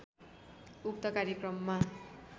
उक्त कार्यक्रममा